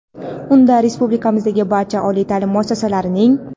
Unda Respublikamizdagi barcha oliy taʼlim muassasalarining.